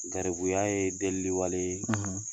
Garibuya ye deli wale ye,